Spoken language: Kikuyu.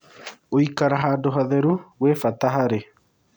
Gũĩkara handũ hatherũ gwĩ bata harĩ